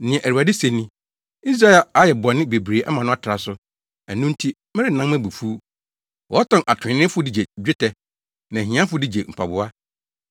Nea Awurade se ni: “Israel ayɛ bɔne bebree ama no atra so, ɛno nti, merennan mʼabufuw. Wɔtɔn atreneefo de gye dwetɛ, ne ahiafo de gye mpaboa.